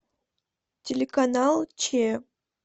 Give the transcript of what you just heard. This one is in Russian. телеканал че